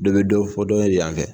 Dɔ bɛ dɔ fɔ dɔ de yanfɛ